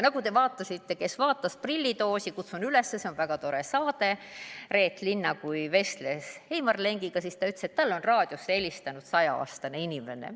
Kes vaatas "Prillitoosi" – kutsun üles, see on väga tore saade –, kui Reet Linna vestles Heimar Lengiga, siis ta ütles, et talle on raadiosse helistanud 100-aastane inimene.